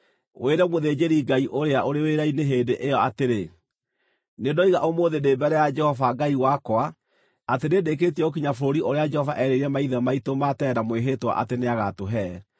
wĩre mũthĩnjĩri-Ngai ũrĩa ũrĩ wĩra-inĩ hĩndĩ ĩyo atĩrĩ, “Nĩndoiga ũmũthĩ ndĩ mbere ya Jehova Ngai wakwa atĩ nĩndĩkĩtie gũkinya bũrũri ũrĩa Jehova eerĩire maithe maitũ ma tene na mwĩhĩtwa atĩ nĩagatũhe.”